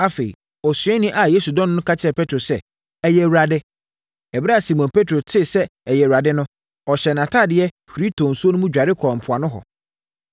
Afei, osuani a Yesu dɔ no no ka kyerɛɛ Petro sɛ, “Ɛyɛ Awurade.” Ɛberɛ a Simon Petro tee sɛ ɛyɛ Awurade no, ɔhyɛɛ nʼatadeɛ, huri tɔɔ nsuo no mu dware kɔɔ mpoano hɔ.